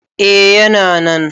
A yana nan